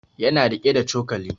Ya na riƙe da cokali